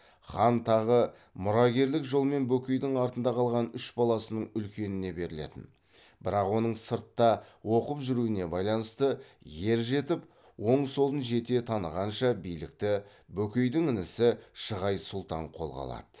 хан тағы мұрагерлік жолмен бөкейдің артында қалған үш баласының үлкеніне берілетін бірақ оның сыртта оқып жүруіне байланысты ер жетіп оң солын жете танығанша билікті бөкейдің інісі шығай сұлтан қолға алады